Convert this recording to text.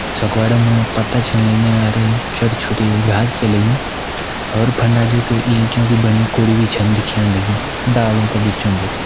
सगोड़ा मा पत्ता छन लग्यां अर छोटी छोटी घास छे लगीं और फंडा जख इंटियों की बणि कूड़ि भी छन दिखेण लगीं डालों का बीचों-बीच।